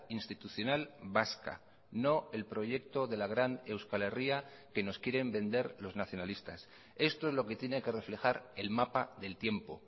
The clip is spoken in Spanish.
institucional vasca no el proyecto de la gran euskal herria que nos quieren vender los nacionalistas esto es lo que tiene que reflejar el mapa del tiempo